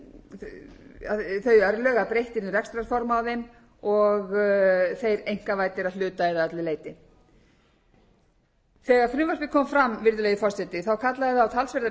að breytt yrði um rekstrarform á þeim og þeir einkavæddir að hluta eða öllu leyti þegar frumvarpið kom fram virðulegi forseti kallaði það á talsverðar umræður í